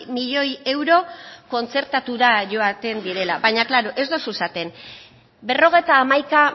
miloi euro kontzertatura joaten direla baina ez duzu esaten berrogeita hamaika